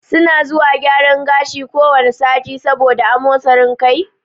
Su na zuwa gyaran gashi ko wane sati, sabo da yawan amosin kai